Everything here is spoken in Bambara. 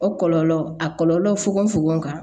O kɔlɔlɔ a kɔlɔlɔ fogofogo kan